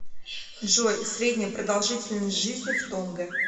джой средняя продолжительность жизни в тонга